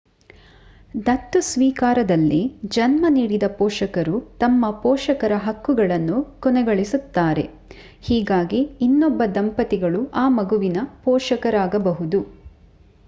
ದತ್ತು ಸ್ವೀಕಾರದಲ್ಲಿ ಜನ್ಮ ನೀಡಿದ ಪೋಷಕರು ತಮ್ಮ ಪೋಷಕರ ಹಕ್ಕುಗಳನ್ನು ಕೊನೆಗೊಳಿಸುತ್ತಾರೆ ಹೀಗಾಗಿ ಇನ್ನೊಬ್ಬ ದಂಪತಿಗಳು ಆ ಮಗುವಿಗೆ ಪೋಷಕರಾಗಬಹುದು